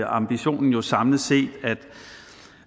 ambitionen jo samlet set